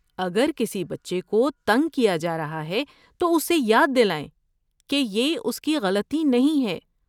اگر کسی بچے کو تنگ کیا جا رہا ہے تو اسے یاد دلائیں کہ یہ اس کی غلطی نہیں ہے۔